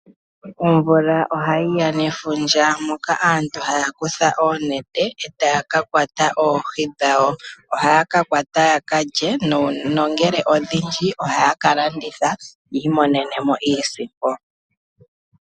Omvula ohayi ya nefundja moka aantu haya kutha oonete e taya ka kwata oohi dhawo. Ohaya ka kwata ya ka lye nongele odhindji ohaya ka landitha yi imonene mo iisimpo.